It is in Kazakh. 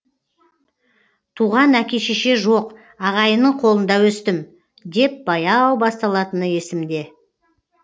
туған әке шеше жоқ ағайынның қолында өстім деп баяу басталатыны есімде